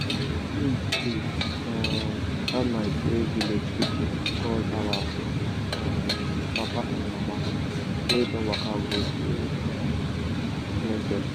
the moon full um that night wey village people call our um papa and mama wey don waka go to um bless them.